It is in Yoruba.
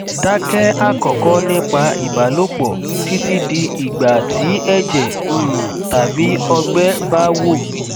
dákẹ àkọkọ nípa ìbálòpọ títí di igba tí ẹjẹ um tàbí ọgbẹ bá wò